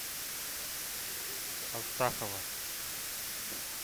астахова